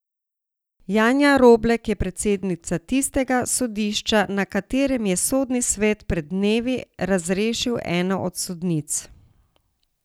Janja Roblek je predsednica tistega sodišča, na katerem je sodni svet pred dnevi razrešil eno od sodnic.